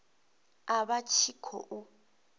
a vha a tshi khou